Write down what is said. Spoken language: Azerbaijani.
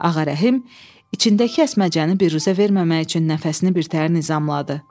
Ağarəhim içindəki əsməcəni birüzə verməmək üçün nəfəsini birtəhər nizamladı.